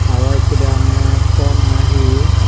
aro ekko deyongey tom na hi.